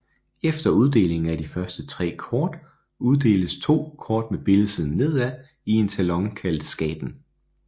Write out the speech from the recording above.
Efter uddelingen af de første 3 kort lægges 2 kort med billedsiden nedad i en talon kaldet skaten